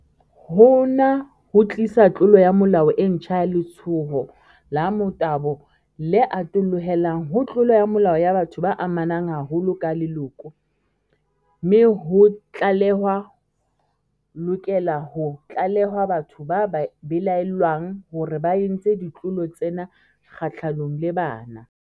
Hona ho tlisa tlolo ya molao e ntjha ya letshoho la motabo, le atollohelang ho tlolo ya molao ya batho ba amanang haholo ka leloko, mme ho tlale-hwa lokela ho tlalehwa batho ba belaellwang hore ba entse ditlolo tsena kgahlanong le bana.